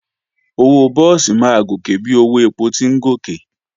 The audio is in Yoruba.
Owó búùsì máa gòkè bí owó èpò ti ń gòkè